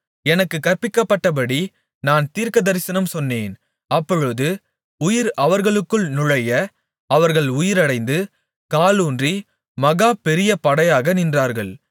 எனக்குக் கற்பிக்கப்பட்டபடி நான் தீர்க்கதரிசனம் சொன்னேன் அப்பொழுது உயிர் அவர்களுக்குள் நுழைய அவர்கள் உயிரடைந்து காலூன்றி மகா பெரிய படையாக நின்றார்கள்